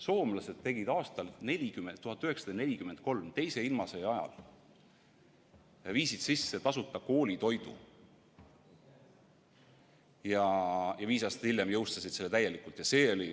Soomlased viisid aastal 1943, teise ilmasõja ajal sisse tasuta koolitoidu ja viis aastat hiljem jõustasid selle täielikult.